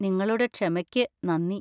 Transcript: നിങ്ങളുടെ ക്ഷമക്ക് നന്ദി.